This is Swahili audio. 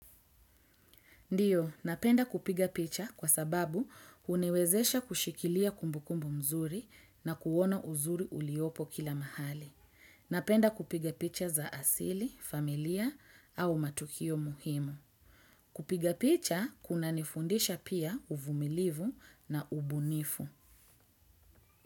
Ndiyo, napenda kupiga picha kwa sababu uniwezesha kushikilia kumbukumbu mzuri na kuona uzuri uliopo kila mahali. Napenda kupiga picha za asili, familia au matukio muhimu. Kupiga picha kunanifundisha pia uvumilivu na ubunifu.